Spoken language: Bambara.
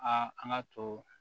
Aa an ka to